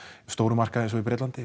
stóra markaði eins og í Bretlandi